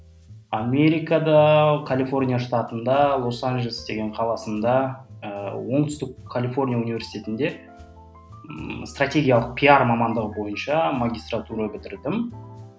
америкада калифорния штатында лос анжелес деген қаласында ыыы оңтүстік калифорния университетінде ммм стратегиялық пиар мамандығы бойынша магистратура бітірдім